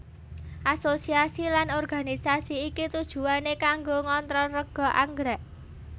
Asosiasi lan organisasi iki tujuwané kanggo ngontrol rega anggrèk